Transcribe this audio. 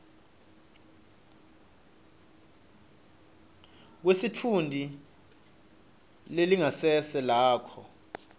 kwesitfunti nelingasese lakho